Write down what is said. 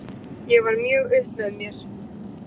Ég var mjög upp með mér.